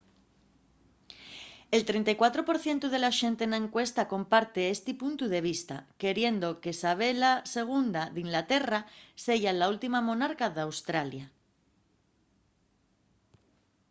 el 34 por cientu de la xente na encuesta comparte esti puntu de vista queriendo que sabela ii d’inglaterra seya la última monarca d’australia